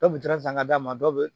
Dɔw kun turan san ka d'a ma dɔ bɛ